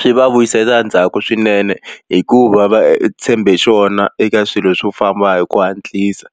Swi va vuyisela ndzhaku swinene hikuva va tshembe xona eka swilo swo famba hi ku hatlisa